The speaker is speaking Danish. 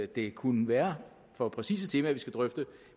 det kunne være for præcise temaer vi skal drøfte